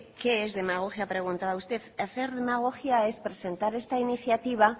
que qué es demagogia preguntaba usted hacer demagogia es presentar esta iniciativa